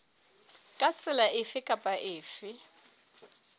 ka tsela efe kapa efe